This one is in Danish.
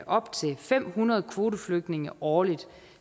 op til fem hundrede kvoteflygtninge årligt